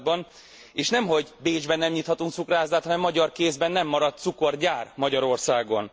században, és nemhogy Bécsben nem nyithatunk cukrászdát, hanem magyar kézben nem maradt cukorgyár Magyarországon.